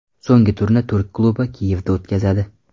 So‘nggi turni turk klubi Kiyevda o‘tkazadi.